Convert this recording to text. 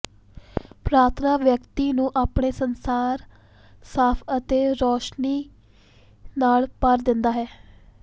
ਪ੍ਰਾਰਥਨਾ ਵਿਅਕਤੀ ਨੂੰ ਆਪਣੇ ਸੰਸਾਰ ਸਾਫ ਅਤੇ ਰੋਸ਼ਨੀ ਨਾਲ ਭਰ ਦਿੰਦਾ ਹੈ